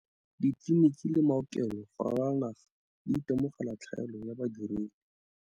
Ditleliniki le maokelo go ralala naga di itemogela tlhaelo ya badiredi.